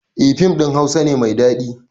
Eh fim ɗin hausa ne mai daɗi